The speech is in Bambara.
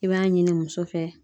I b'a ɲini muso fɛ.